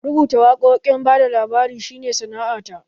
Rubuta waƙoƙin bada labari shi ne sana'a ta